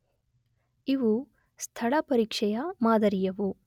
ಇವು ‘ಸ್ಥಳ ಪರೀಕ್ಷೆ’ ಯ ಮಾದರಿಯವು.